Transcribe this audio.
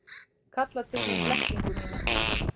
Kalla til mín blekkingu mína.